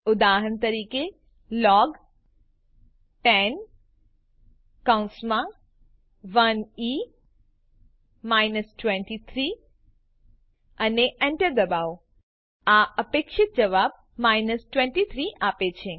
ઉદાહરણ તરીકે લોગ10 અને enter દબાવો આ અપેક્ષિત જવાબ 23 આપે છે